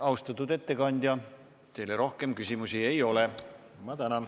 Austatud ettekandja, teile rohkem küsimusi ei ole.